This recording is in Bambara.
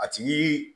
A ti